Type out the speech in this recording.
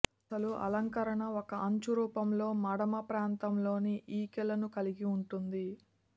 అసలు అలంకరణ ఒక అంచు రూపంలో మడమ ప్రాంతంలోని ఈకలను కలిగి ఉంటుంది